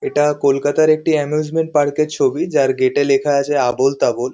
এটা কলকাতার একটি এমুসমেন্ট পার্ক -এর ছবি যার গেট -এ লেখা আছে আবোলতাবোল।